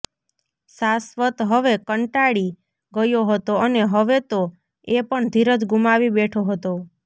શાશ્વત હવે કંટાળી ગયો હતો અને હવે તો એ પણ ધીરજ ગુમાવી બેઠો હતો